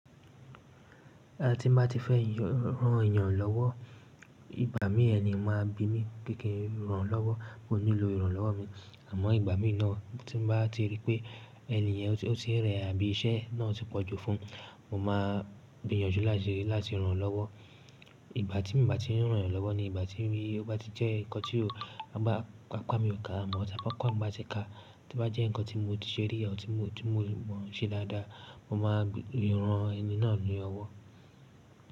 Tí ba ti fẹ́ yan rán èèyàn lọ́wọ́, ìgbà mí ẹni máa bi mí, kí n rán lọ́wọ́, o nílo ìranlọ́wọ́ mi. Àmọ́ ìgbà mí náà tí mo bá ti rí pé ènìyàn tí ó ti rẹ̀ àbí iṣẹ́ náà ti pọ̀jù fún un, mo máa gbiyànjú láti rán lọ́wọ́. Ìgbà tí mi bà tí ń rán èèyàn lọ́wọ́ ni ìgbà tí ó bá ti jẹ́ nǹkan tí apa mi ò ká. Àmọ́ tí apá mi bá ti ka, tí bá jẹ́ nǹkan tí mo ti se rí or tí mo mọ̀ ṣe dáadáa, mo máa ran ẹni náà ní ọwọ́.